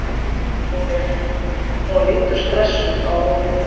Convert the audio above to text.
Hún lítur stressuð á úrið.